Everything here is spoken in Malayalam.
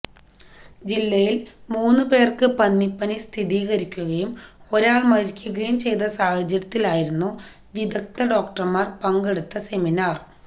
ജില്ലയില് മൂന്നു പേര്ക്ക് പന്നിപ്പനി സ്ഥിരീകരിക്കുകയും ഒരാള് മരിക്കുകയും ചെയ്ത സാഹചര്യത്തിലായിരുന്നു വിദഗ്ദ്ധ ഡോക്ടര്മാര് പങ്കെടുത്ത സെമിനാര്